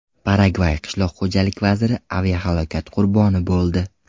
Paragvay qishloq xo‘jalik vaziri aviahalokat qurboni bo‘ldi.